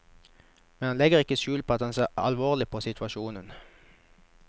Men han legger ikke skjul på at han ser alvorlig på situasjonen.